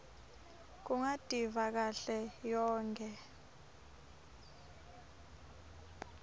kungativa kahle yonkhe